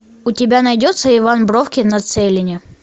у тебя найдется иван бровкин на целине